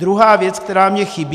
Druhá věc, která mi chybí.